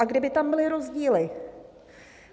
A kdyby tam byly rozdíly?